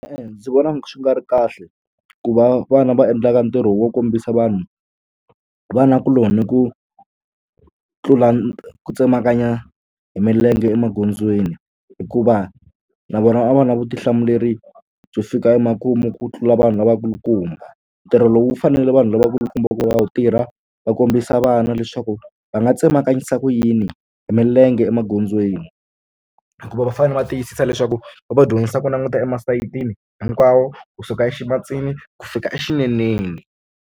E-e ndzi vona swi nga ri kahle ku va vana va endlaka ntirho wo kombisa vanhu vanakuloni ku tlula ku tsemakanya hi milenge emagondzweni hikuva na vona va va na vutihlamuleri byo fika emakumu ku tlula vanhu lavakulukumba ntirho lowu faneleke vanhu lavakulukumba ku va wu tirha va kombisa vana leswaku va nga tsemakanyisa ku yini hi milenge emagondzweni hikuva va fanele va tiyisisa leswaku va va dyondzisa ku languta e masayitini hinkwawo kusuka e ximatsini ku fika exineneni.